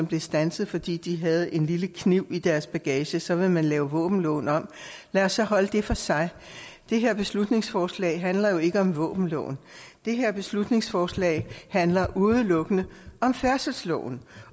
blev standset fordi de havde en lille kniv i deres bagage så vil man lave våbenloven om lad os så holde det for sig det her beslutningsforslag handler jo ikke om våbenloven det her beslutningsforslag handler udelukkende om færdselsloven